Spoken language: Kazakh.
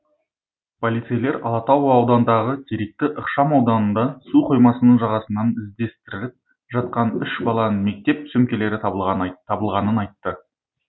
полицейлер алатау ауданындағы теректі ықшамауданында су қоймасының жағасынан іздестіріліп жатқан үш баланың мектеп сөмкелері табылғанын айтты